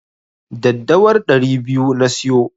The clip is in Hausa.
Daddawar ɗari biyu na siyo.